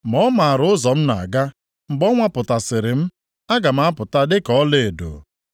Ma ọ maara ụzọ m na-aga, mgbe ọ nwapụtasịrị m, aga m apụta dịka ọlaedo,